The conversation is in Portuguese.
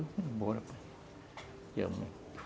Eu fui embora.